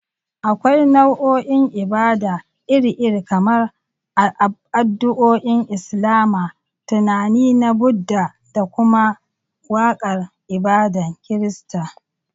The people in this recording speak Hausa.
Akwai nau'o'in ibada iri-iri, kamar addu'o'in Islama, tunani na Buddha, da kuma waƙar ibadar Kirista.